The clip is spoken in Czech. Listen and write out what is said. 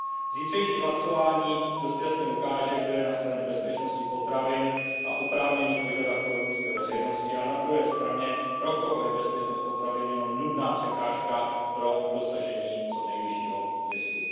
Zítřejší hlasování dost jasně ukáže, kdo je na straně bezpečnosti potravin a oprávněných požadavků evropské veřejnosti, a na druhé straně, pro koho je bezpečnost potravin jenom nudná překážka pro dosažení co nejvyššího zisku.